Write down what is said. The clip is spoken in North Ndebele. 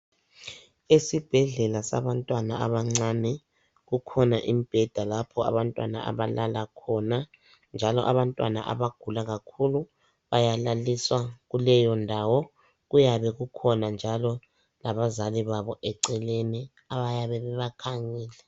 Esibhedlela sabantwana abancane kukhona imbheda lapho abantwana abalala khona njalo abantwana abagula kakhulu bayalaliswa kuleyo ndawo, kuyabe kukhona njalo abazali babo eceleni abayabe bebakhangele.